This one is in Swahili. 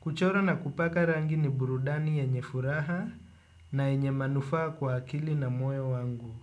kuchora na kupaka rangi ni burudani yenye furaha na yenye manufaa kwa akili na moto wangu.